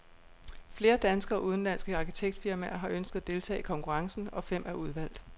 Flere danske og udenlandske arkitektfirmaer har ønsket at deltage i konkurrencen, og fem er udvalgt.